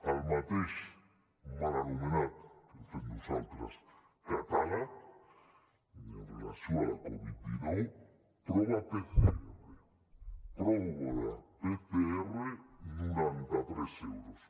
el mateix mal anomenat com fem nosaltres catàleg amb relació a la covid dinou prova pcr prova pcr noranta tres euros